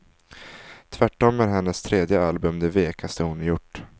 Tvärtom är hennes tredje album det vekaste hon har gjort.